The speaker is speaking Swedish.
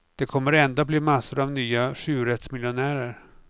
Det kommer ändå att bli massor av nya sjurättsmiljonärer.